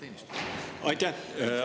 Aitäh!